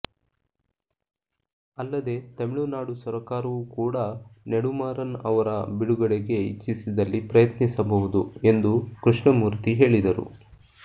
ಅಲ್ಲದೆ ತಮಿಳುನಾಡು ಸರಕಾರವೂ ಕೂಡ ನೆಡುಮಾರನ್ ಅವರ ಬಿಡುಗಡೆಗೆ ಇಚ್ಚಿಸಿದಲ್ಲಿ ಪ್ರಯತ್ನಿಸಬಹುದು ಎಂದು ಕೃಷ್ಣ ಮೂರ್ತಿ ಹೇಳಿದರು